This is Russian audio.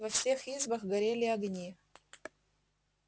во всех избах горели огни